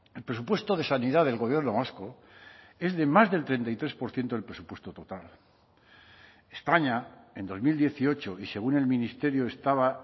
el presupuesto de sanidad del gobierno vasco es de más del treinta y tres por ciento del presupuesto total españa en dos mil dieciocho y según el ministerio estaba